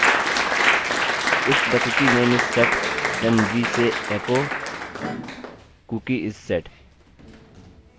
if the cookie name is set then we say echo cookie is set